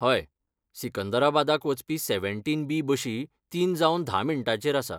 हय, सिकंदराबादाक वचपी सेव्हनटीन बी बशी तीन जावन धा मिण्टांचेर आसा.